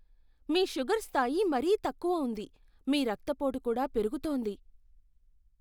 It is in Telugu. మీ షుగర్ స్థాయి మరీ తక్కువ ఉంది, మీ రక్తపోటు కూడా పెరుగుతోంది.